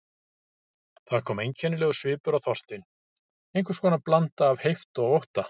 Það kom einkennilegur svipur á Þorstein, einhvers konar blanda af heift og ótta.